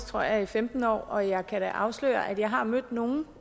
tror jeg femten år og jeg kan da afsløre at jeg har mødt nogle